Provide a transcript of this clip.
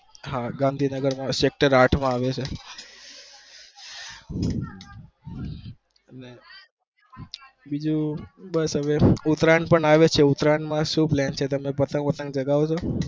હા ગાંધીનગર માં chapter આંઠ માં આવે છે ઉતરાયણ આવે છે તમે સુ પાટણ બતંગ ચગાવો છો